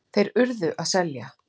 Þeir URÐU að selja.